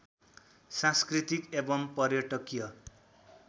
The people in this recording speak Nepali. सांस्कृतिक एवं पर्यटकीय